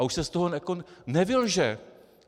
A už se z toho nevylže.